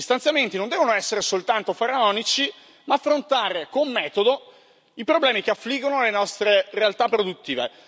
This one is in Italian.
Gli stanziamenti non devono essere soltanto faraonici, ma affrontare con metodo i problemi che affliggono le nostre realtà produttive.